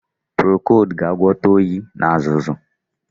Procold ga-agwọta oyi na azụzụ